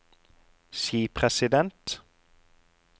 skipresident